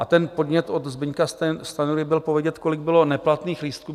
A ten podnět od Zdeňka Stanjury byl povědět, kolik bylo neplatných lístků.